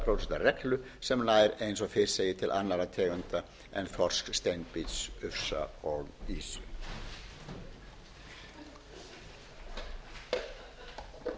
reglu sem nær eins og fyrr segir til annarra tegunda en þorsks steinbít ufsa og